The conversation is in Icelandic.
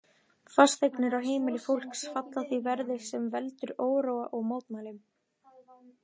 Fasteignir og heimili fólks falla því verði, sem veldur óróa og mótmælum.